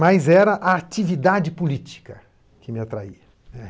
Mas era a atividade política que me atraía, né.